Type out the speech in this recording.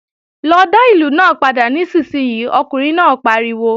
Lọ dá ìlù náà padà nísinsìnyí, ọkùnrin náà pariwo!